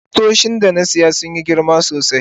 kusoshin da na siya sun Yi girma sosai.